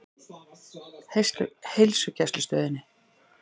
Heilsugæslustöðinni